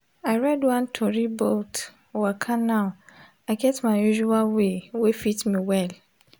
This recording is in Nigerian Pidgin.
i read one tori bout waka now i get my usual way wey fit me well.